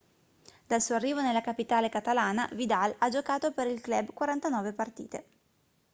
dal suo arrivo nella capitale catalana vidal ha giocato per il club 49 partite